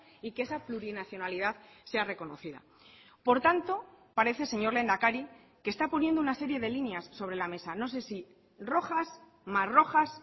y que esa plurinacionalidad sea reconocida por tanto parece señor lehendakari que está poniendo una serie de líneas sobre la mesa no sé si rojas más rojas